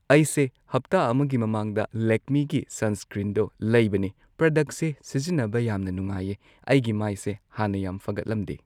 ꯑꯩꯁꯦ ꯍꯞꯇꯥ ꯑꯃꯒꯤ ꯃꯃꯥꯡꯗ ꯂꯦꯛꯃꯤꯒꯤ ꯁꯟꯁ꯭ꯀ꯭ꯔꯤꯟꯗꯣ ꯂꯩꯕꯅꯦ ꯄ꯭ꯔꯗꯛꯁꯦ ꯁꯤꯖꯤꯟꯅꯕ ꯌꯥꯝꯅ ꯅꯨꯡꯉꯥꯏꯌꯦ ꯑꯩꯒꯤ ꯃꯥꯏꯁꯦ ꯍꯥꯟꯅ ꯌꯥꯝ ꯐꯒꯠꯂꯝꯗꯦ ꯫